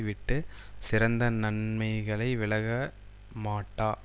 விட்டு சிறந்த நன்மைகளை விலக மாட்டா